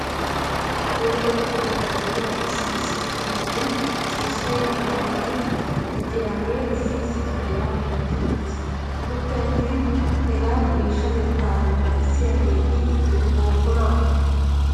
Nu luxxetta keettan de'iyaa issi issi sohotun ciishshay loyttidi diccidaagee issi issi kifiliyaa gentti uttis. Gidoppiyaattin hegaa geeshshatettaa naagissiyaageetti be'ibookonaa?